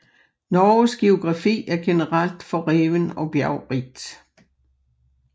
Norges geografi er generelt forreven og bjergrigt